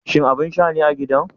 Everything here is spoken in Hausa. Shin abin sha ne a gidan?